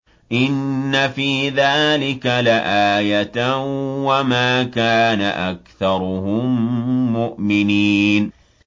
إِنَّ فِي ذَٰلِكَ لَآيَةً ۖ وَمَا كَانَ أَكْثَرُهُم مُّؤْمِنِينَ